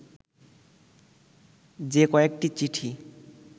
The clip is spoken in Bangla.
যে কয়েকটি চিঠি